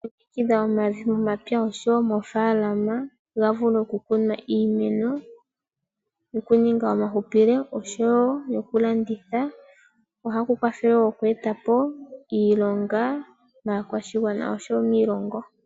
Okulongekidha omavi momapya oshowo moofalama gavule okukunwa Iimeno yokuninga omahupilo oshowo yokulanditha ohaku kwathele oku etapo iilonga maakwashigwana oshowo miilongo.